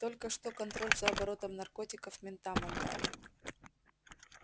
только что контроль за оборотом наркотиков ментам отдали